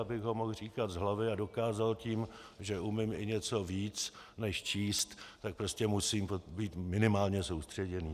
Abych ho mohl říkat z hlavy a dokázal tím, že umím i něco víc než číst, tak prostě musím být minimálně soustředěný.